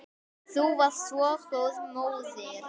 Þú varst svo góð móðir.